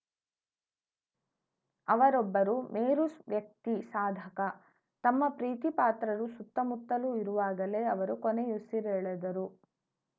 ಅವರೊಬ್ಬರು ಮೇರು ವ್ಯಕ್ತಿ ಸಾಧಕ ತಮ್ಮ ಪ್ರೀತಿಪಾತ್ರರು ಸುತ್ತಮುತ್ತಲು ಇರುವಾಗಲೇ ಅವರು ಕೊನೆಯುಸಿರೆಳೆದರು